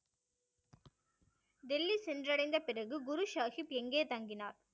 டெல்லி சென்றடைந்த பிறகு குரு சாகிப் எங்கே தங்கினார்?